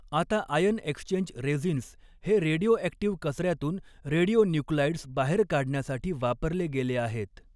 आता ion exchange resins हे radioactive कचऱ्यातून रेडिओ न्युक्लाईड्स बाहेर काढण्यासाठी वापरले गेले आहेत.